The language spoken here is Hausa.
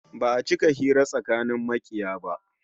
Ba'a cika hira tsakanin makiya ba